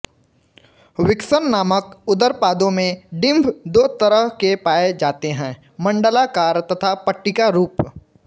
vixen नामक उदरपादों में डिंभ दो तरह के पाए जाते हैं मंडलाकार तथा पट्टिका रूप